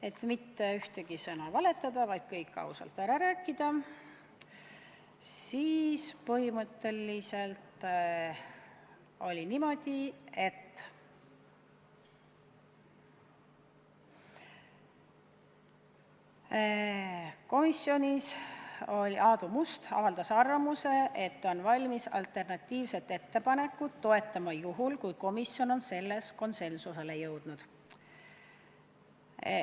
Et mitte ühtegi sõna valetada, vaid kõik ausalt ära rääkida, siis ütlen, et põhimõtteliselt oli niimoodi, et komisjonis Aadu Must avaldas arvamust, et ta on valmis alternatiivset ettepanekut toetama juhul, kui komisjon on selles konsensusele jõudnud.